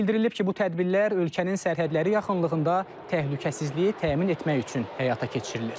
Bildirilib ki, bu tədbirlər ölkənin sərhədləri yaxınlığında təhlükəsizliyi təmin etmək üçün həyata keçirilir.